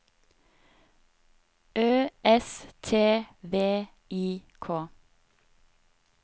Ø S T V I K